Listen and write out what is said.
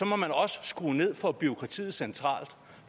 må man også skrue ned for bureaukratiet centralt